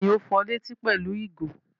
Bẹ́ẹ̀ni, ó fọ létí pẹ̀lú ìgò.